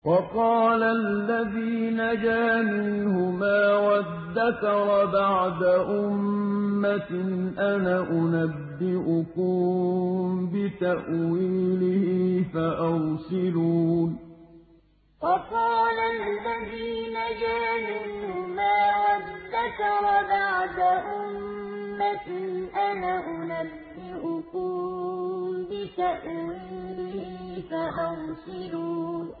وَقَالَ الَّذِي نَجَا مِنْهُمَا وَادَّكَرَ بَعْدَ أُمَّةٍ أَنَا أُنَبِّئُكُم بِتَأْوِيلِهِ فَأَرْسِلُونِ وَقَالَ الَّذِي نَجَا مِنْهُمَا وَادَّكَرَ بَعْدَ أُمَّةٍ أَنَا أُنَبِّئُكُم بِتَأْوِيلِهِ فَأَرْسِلُونِ